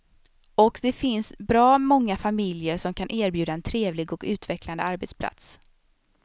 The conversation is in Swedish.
Och det finns bra många familjer som kan erbjuda en trevlig och utvecklande arbetsplats.